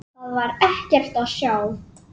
Þar var ekkert að sjá.